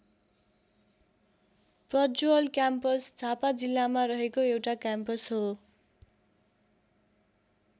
Prajwal campus Jhapa जिल्लामा रहेको एउटा क्याम्पस हो।